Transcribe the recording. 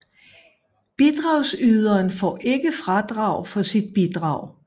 Bidragsyderen får ikke fradrag for sit bidrag